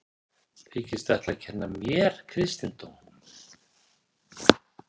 Þykistu ætla að kenna mér kristindóm?